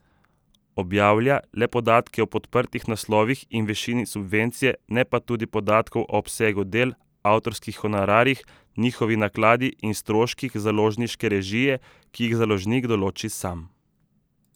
Objavlja le podatke o podprtih naslovih in višini subvencije, ne pa tudi podatkov o obsegu del, avtorskih honorarjih, njihovi nakladi in stroških založniške režije, ki jih založnik določi sam.